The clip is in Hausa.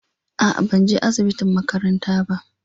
A'a, ban je asiɓitin maƙaranta ba.